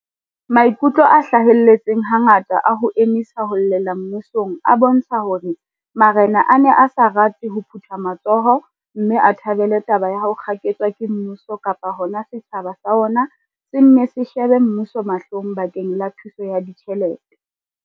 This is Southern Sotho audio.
Maikutlo a hlahelletseng hangata a ho emisa ho llela mmusong a bontsha hore ma rena a ne a sa rate ho phutha matsoho mme a thabele taba ya ho kgaketswa ke mmuso kapa hona hore setjhaba sa ona se nne se shebe mmuso mahlong bakeng la thuso ya ditjhelete.